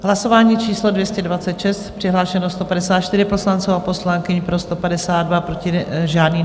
Hlasování číslo 226, přihlášeno 154 poslanců a poslankyň, pro 152, proti žádný.